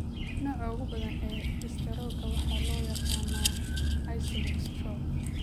Nooca ugu badan ee istaroogga waxaa loo yaqaan ischemic stroke.